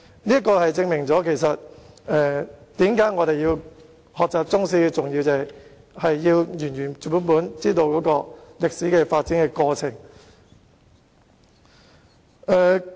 這正正說明學習中史的重要性——我們要原原本本知道歷史的發展過程。